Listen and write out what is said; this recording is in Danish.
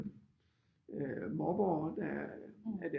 Mobbere der er